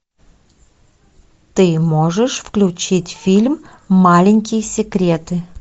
ты можешь включить фильм маленькие секреты